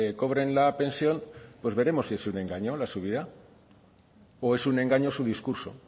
cobren la pensión pues veremos si es un engaño la subida o es un engaño su discurso